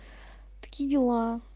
такие дела